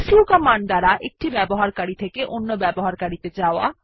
সু কমান্ড দ্বারা এক ইউসার থেকে ইউসার এ যাওয়া